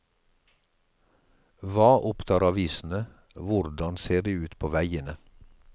Hva opptar avisene, hvordan ser det ut på veiene.